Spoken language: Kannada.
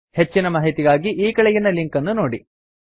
ಹೆಚ್ಚಿನ ಮಾಹಿತಿಗಾಗಿ ಈ ಕೆಳಗಿನ ಲಿಂಕ್ ಅನ್ನು ನೋಡಿ